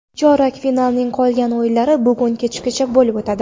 Chorak finalning qolgan o‘yinlari bugun kechgacha bo‘lib o‘tadi.